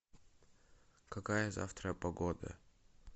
какая завтра погода